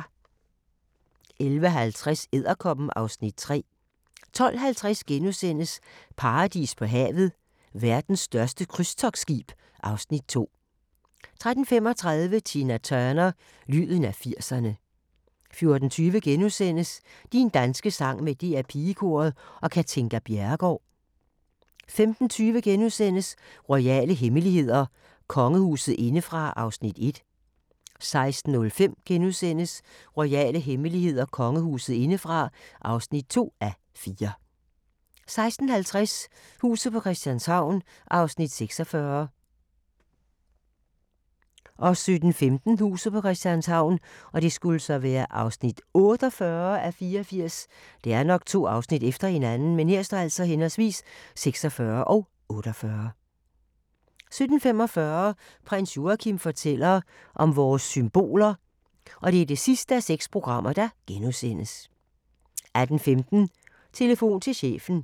11:50: Edderkoppen (Afs. 3) 12:50: Paradis på havet – Verdens største krydstogtskib (Afs. 2)* 13:35: Tina Turner – lyden af 80'erne 14:20: Din danske sang med DR PigeKoret og Katinka Bjerregaard * 15:20: Royale hemmeligheder: Kongehuset indefra (1:4)* 16:05: Royale hemmeligheder: Kongehuset indefra (2:4)* 16:50: Huset på Christianshavn (46:84) 17:15: Huset på Christianshavn (48:84) 17:45: Prins Joachim fortæller om vores symboler (6:6)* 18:15: Telefon til chefen